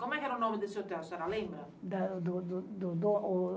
Como é que era o nome desse hotel, a senhora lembra? Da do do do do o...